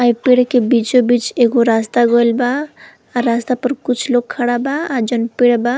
आ ई पेड़ के बीचों-बीच एगो रास्ता गइल बा। अ रास्ता पर कुछ लोग खड़ा बा। आ जउन पेड़ बा --